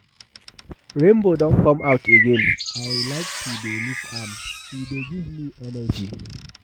Rainbow don come out again, I like to dey look am, e dey give me energy.